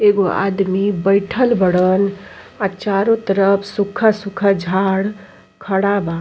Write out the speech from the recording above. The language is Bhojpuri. एगो आदमी बाईथल बाड़न और चारो तरफ सोखा सोखा झाड़ खड़ा बा।